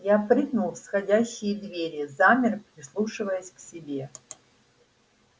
я прыгнул в сходящие двери замер прислушиваясь к себе